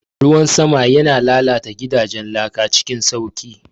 Ruwan sama yana lalata gidajen laka cikin sauƙi.